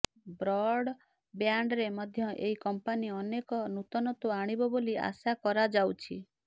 Broad ବ୍ୟାଣ୍ଡରେ ମଧ୍ୟ ଏହି କମ୍ପାନୀ ଅନେକ ନୂତନତ୍ୱ ଆଣିବ ବୋଲି ଆଶା କରାଯାଉଛି